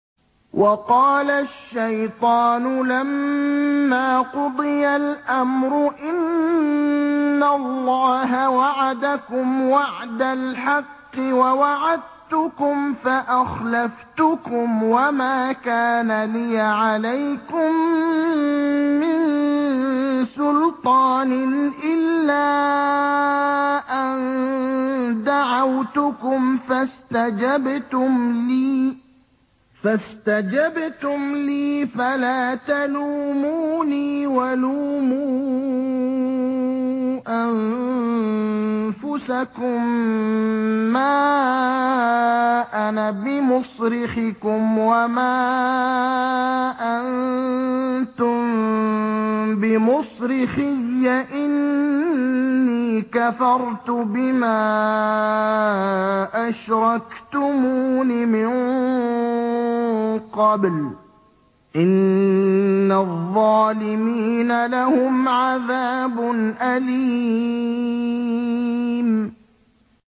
وَقَالَ الشَّيْطَانُ لَمَّا قُضِيَ الْأَمْرُ إِنَّ اللَّهَ وَعَدَكُمْ وَعْدَ الْحَقِّ وَوَعَدتُّكُمْ فَأَخْلَفْتُكُمْ ۖ وَمَا كَانَ لِيَ عَلَيْكُم مِّن سُلْطَانٍ إِلَّا أَن دَعَوْتُكُمْ فَاسْتَجَبْتُمْ لِي ۖ فَلَا تَلُومُونِي وَلُومُوا أَنفُسَكُم ۖ مَّا أَنَا بِمُصْرِخِكُمْ وَمَا أَنتُم بِمُصْرِخِيَّ ۖ إِنِّي كَفَرْتُ بِمَا أَشْرَكْتُمُونِ مِن قَبْلُ ۗ إِنَّ الظَّالِمِينَ لَهُمْ عَذَابٌ أَلِيمٌ